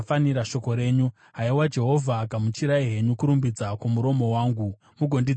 Haiwa Jehovha, gamuchirai henyu kurumbidza kwomuromo wangu, mugondidzidzisa mirayiro yenyu.